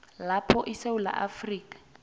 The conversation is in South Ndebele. lapho isewula afrika